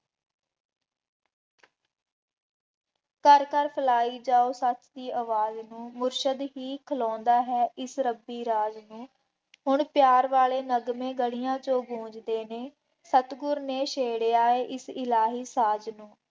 ਘਰ ਘਰ ਫੈਲਾਈ ਜਾਉ ਸੱਚ ਦੀ ਆਵਾਜ਼ ਨੂੰ, ਮੁਰਸ਼ਦ ਹੀ ਖਲੋਂਦਾ ਹੈ ਇਸ ਰੱਬੀ ਰਾਜ ਨੂੰ, ਹੁਣ ਪਿਆਰ ਵਾਲੇ ਨਗਮੇ ਗਲੀਆਂ ਚੋਂ ਗੁੰਜ਼ਦੇ ਨੇ, ਸਤਿਗੁਰ ਨੇ ਛੇੜਿਆ ਹੈ ਇਸ ਇਲਾਹੀ ਸਾਜ਼ ਨੂੰ,